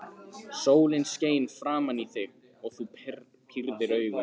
Sólin skein framan í þig og þú pírðir augun.